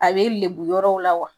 A bɛ lebu yɔrɔw la wa?